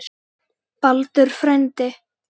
Baldur frændi.